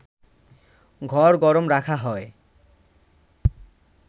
ঘর গরম রাখা হয়